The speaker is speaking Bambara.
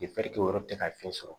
o yɔrɔ tɛ ka fiɲɛ sɔrɔ